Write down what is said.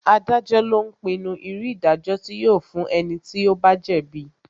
Adájọ́ lo ń pinnu irú ìdájọ́ tí yóò fún ẹni tí ó bá jẹ́ bíi